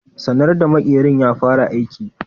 Sanar da makerin ya fara aiki.